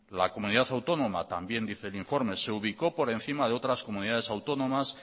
la comunidad autónoma también dice el informe se ubicó por encima de otras comunidades autónomas